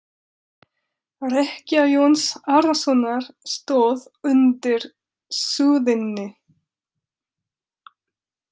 Rekkja Jóns Arasonar stóð undir súðinni.